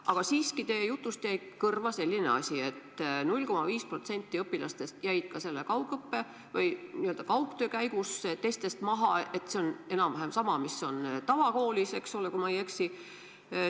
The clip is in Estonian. Aga teie jutust jäi kõrva selline asi, et 0,5% õpilastest jäi kaugõppe või n-ö kaugtöö käigus teistest maha – see on enam-vähem sama näitaja, mis on tavakoolis, eks ole, kui ma ei eksi.